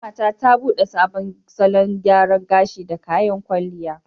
Ƙanwata ta bude sabon salon gyaran gashi da kayan kwalliya.